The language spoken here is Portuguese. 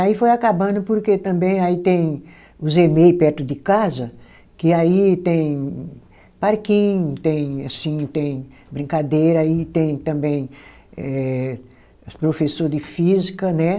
Aí foi acabando porque também aí tem os emei perto de casa, que aí tem parquinho, tem assim tem brincadeira e tem também eh, os professor de física, né?